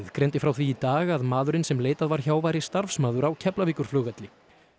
greindi frá því í dag að maðurinn sem leitað var hjá væri starfsmaður á Keflavíkurflugvelli